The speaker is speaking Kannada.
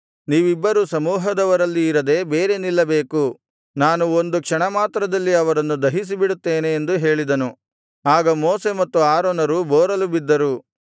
ನೀವಿಬ್ಬರೂ ಸಮೂಹದವರಲ್ಲಿ ಇರದೆ ಬೇರೆ ನಿಲ್ಲಬೇಕು ನಾನು ಒಂದು ಕ್ಷಣಮಾತ್ರದಲ್ಲಿ ಅವರನ್ನು ದಹಿಸಿಬಿಡುತ್ತೇನೆ ಎಂದು ಹೇಳಿದನು ಆಗ ಮೋಶೆ ಮತ್ತು ಆರೋನರು ಬೋರಲುಬಿದ್ದರು